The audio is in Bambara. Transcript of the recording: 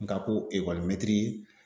Nga ko ekɔli mɛtiri